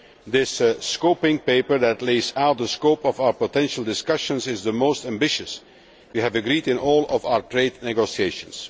This scoping paper which lays out the scope of our potential discussions is the most ambitious that we have agreed in all of our trade negotiations.